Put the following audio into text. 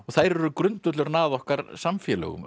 þær eru grundvöllurinn að okkar samfélögum